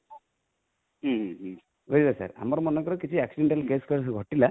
ବୁଝିଲେ sir ଆମର ଯଦି କିଛି accidental case ଘଟିଲା